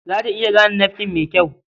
Za ta iya gane nafkin mai kyau.